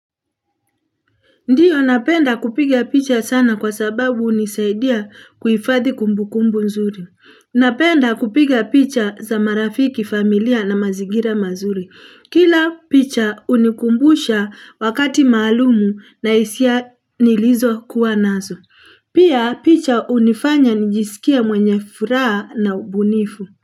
Ndiyo napenda kupiga picha sana kwa sababu hunisaidia kuhifadhi kumbukumbu nzuri. Napenda kupiga picha za marafiki, familia na mazingira mazuri. Kila picha hunikumbusha wakati maalum na hisia nilizokuwa nazo. Pia picha hunifanya nijisikia mwenye furaha na ubunifu.